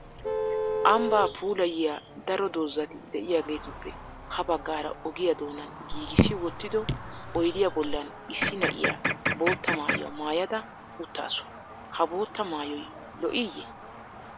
Ambbaa puulayiya daro doozati diyageetuppe ha baggaara ogiya doonan giigissi wottido oydiya bollan issi na'iya bootta maayuwa maayada uttaasu. Ha bootta maayoy lo'iiyye?